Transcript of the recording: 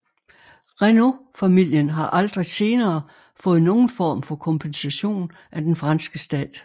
Renault familien har aldrig senere fået nogen form for kompensation af den franske stat